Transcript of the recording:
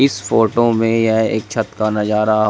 इस फोटो में यह एक छत का नज़ारा--